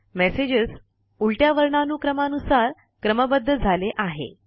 messages उलट्या वर्णानुक्रमानुसार क्रमबद्ध झाले आहे